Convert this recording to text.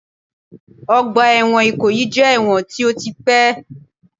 Ọgbà ẹ̀wọ̀n Ìkòyí jẹ́ ẹ̀wọ̀n tí ó ti pẹ́